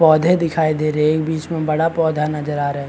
पौधे दिखाई दे रहे है बीच में बड़ा पौधा नज़र आ रहा है।